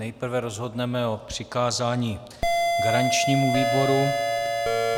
Nejprve rozhodneme o přikázání garančnímu výboru.